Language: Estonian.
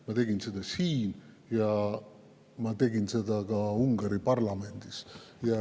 Ma tegin seda siin ja ma tegin seda ka Ungari parlamendis.